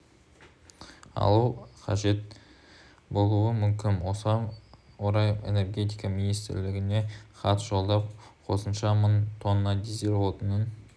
алу қажет болуы мүмкін осыған орай энергетика министрлігіне хат жолдап қосымша мың тонна дизель отынын